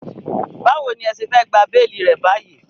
Báwo ní ẹ ṣe fẹ́ gba béélì rẹ̀ báyìí?